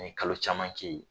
N ye kalo caman kɛ yen